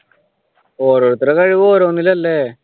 ഒരുരുത്തരുടെ കഴിവ് ഓരോന്നില്ലല്ലേ?